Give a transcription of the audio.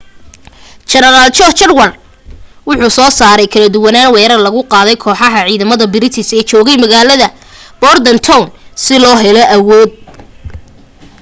jeneraal john cadwalder wuxuu soo saaray kala duwanan weerar lagu qaaday kooxaxa ciidamada british ee joogay magalada bordentown si loo helo awood